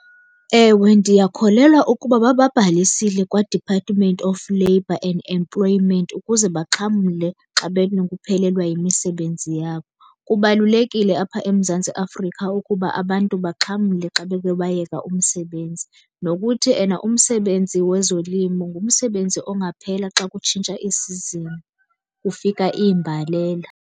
Ewe, ndiyakholelwa ukuba bababhalisile kwaDepartment of Labor and Employment ukuze baxhamle xa benokuphelelwa yimisebenzi yabo. Kubalulekile apha eMzantsi Afrika ukuba abantu baxhamle xa beke bayeka umsebenzi. Nokuthi ena umsebenzi wezolimo ngumsebenzi ongaphela xa kutshintsha i-season kufika iimbalela.